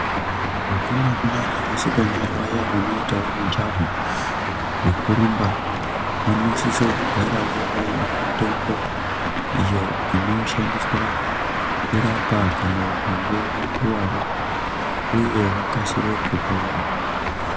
Vakomana nevasikana vaya vanoitawo mijaho wekurumba vanosisa kugarawo vaine mitombo iyo inoshandiswa kurapa kana vakange vakuwara uye vakasire kupora.